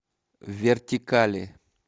вертикали